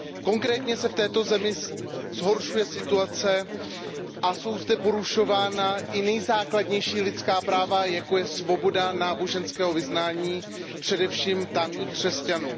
Konkrétně se v této zemi zhoršuje situace a jsou zde porušována i nejzákladnější lidská práva, jako je svoboda náboženského vyznání především tamních křesťanů.